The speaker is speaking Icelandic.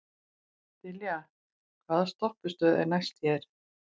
Dilja, hvaða stoppistöð er næst mér?